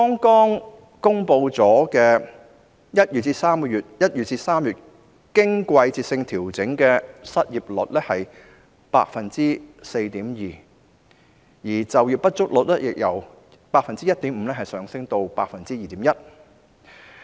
剛公布的1月至3月經季節性調整的失業率是 4.2%， 就業不足率則由 1.5% 上升至 2.1%。